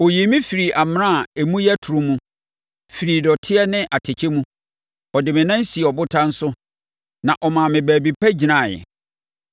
Ɔyii me firii amena a emu yɛ toro mu, firii dɔteɛ ne atɛkyɛ mu; ɔde me nan sii ɔbotan so na ɔmaa me baabi pa gyinaeɛ.